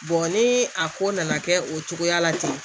ni a ko nana kɛ o cogoya la ten